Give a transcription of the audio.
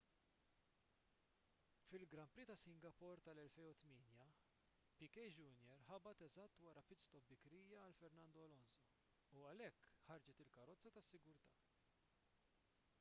fil-grand prix ta' singapore tal-2008 piquet jr ħabat eżatt wara pit stop bikrija għal fernando alonso u għalhekk ħarġet il-karozza tas-sigurtà